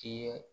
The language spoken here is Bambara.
I ye